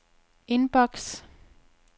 indboks